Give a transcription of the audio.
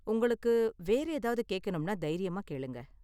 உங்களுக்கு வேற ஏதாவது கேக்கனும்னா தைரியமா கேளுங்க.